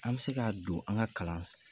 An bɛ se k'a don an ka kalan